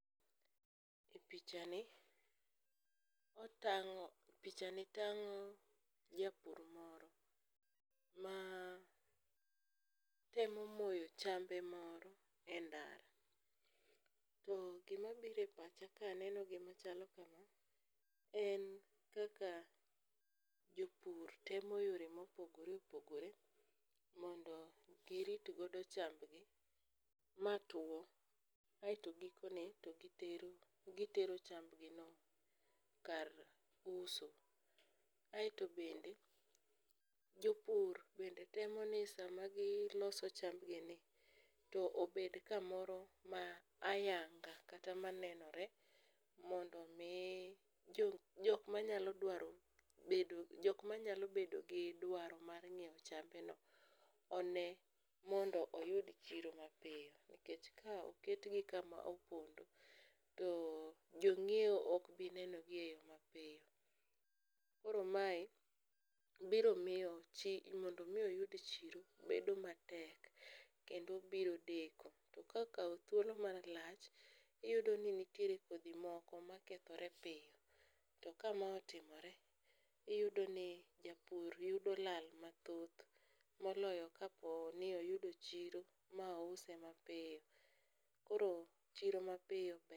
Pichani tang'o japur moro ma temo moyo chambe moro e ndara to gimabiro e pacha ka aneno gimachalo kama en kaka jopur temo yore mopogore opogore mondo giritgodo chambgi matwo aeto gikone to gitero chambgino kar uso. Aeto bende jopur bende temo ni sama giloso chambgini tobed kamoro ma ayanga kata manenore mondo omi jokma nyalo bedo gi dwaro mar ng'iewo chambeno one mondo oyud chiro mapiyo nikech ka oketgi kama opondo to jong'iewo okbinenogi e yo mapiyo. Koro mae biro miyo mondo omi opyud chiro bedo matek kendo biro deko to kokawo thuolo malach iyudo ni nitiere kodhi moko makethore piyo to kama otimore iyudo ni japur yudo lal mathoth moloyo kaponi oyudo chiro ma ouse mapiyo, koro chiro mapiyo ber.